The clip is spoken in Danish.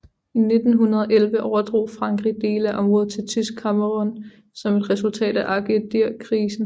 I 1911 overdrog Frankrig dele af området til Tysk Kamerun som et resultat af Agadirkrisen